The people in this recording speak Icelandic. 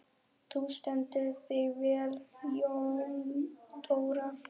Þú stendur þig vel, Jóndóra!